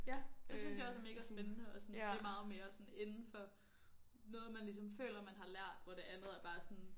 Ja det synes jeg også er mega spændende og sådan det er meget mere sådan inden for noget man ligesom føler man har lært hvor det andet er bare sådan